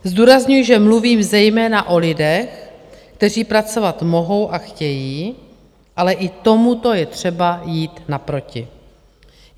Zdůrazňuji, že mluvím zejména o lidech, kteří pracovat mohou a chtějí, ale i tomuto je třeba jít naproti.